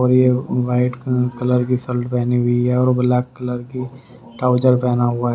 और ये white uh colour की शर्ट पहनी हुई है और ब्लैक कलर की ट्राउजर पहना हुआ है।